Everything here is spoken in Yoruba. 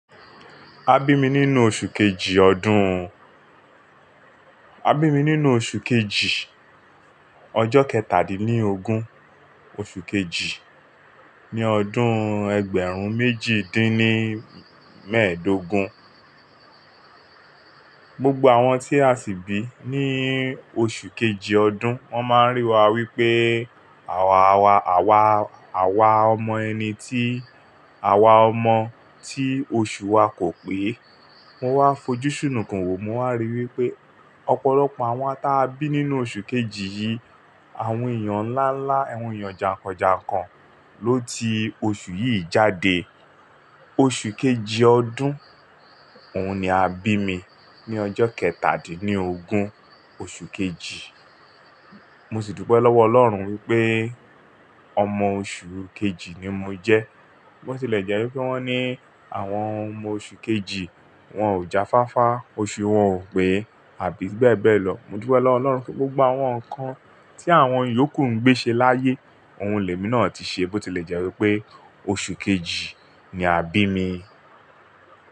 A bí mi nínú oṣù kejì ọdún, a bí mi nínú oṣù kejì, ọjọ́ kẹtàdín ni ógún, oṣù kejì, ní ọdún ẹgbẹ̀rún méjìdínl méèdógún. Gbogbo àwọn tí a sì bí ní oṣù kejì ọdún, wọ́n máa ń rí wa wípé àwa, àwa, àwa ọmọ ẹni tí, àwa ọmọ tí oṣù wa kò pé. Mọ wá fojú sunukun wo, mo wá ríi wípé ọ̀pọ̀lọpọ̀ àwọn tí a bí nínú oṣù kejì yìí, àwọn èèyàn ńlá ńlá, àwọn èèyàn jàǹkàn jàǹkàn ló ti oṣù yìí jáde. Oṣù kejì ọdún òun ni a bí mi ní ọjọ́ kẹtàdín ni ógún, oṣù kejì. Mo sì dúpẹ́ lọ́wọ́ Ọlọ́run wípé ọmọ oṣù kejì ni mo jẹ́. Bí ó tilẹ̀ jẹ́ wípé wón ní àwọn ọmọ oṣù kejì, wón ò jáfáfá, oṣù wọn ò pé àbí beẹ́beẹ́ lọ. Mo dúpẹ́ lọ́wọ́ Ọlọ́run wípé gbogbo àwọn nǹkan tí àwọn yòókù ń gbé ṣe láyé, ohun lèmi náà ti ṣe bó tilẹ̀ jẹ́ wípé oṣù kejì ni a bí mi.